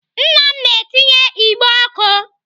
Nna m na-etinye igbe ọkụ.